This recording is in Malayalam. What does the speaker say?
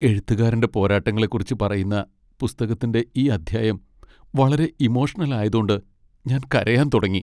എഴുത്തുകാരന്റെ പോരാട്ടങ്ങളെക്കുറിച്ച് പറയുന്ന പുസ്തകത്തിന്റെ ഈ അധ്യായം വളരെ ഇമോഷണൽ ആയതോണ്ട് ഞാൻ കരയാൻ തുടങ്ങി.